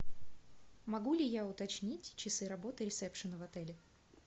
могу ли я уточнить часы работы ресепшена в отеле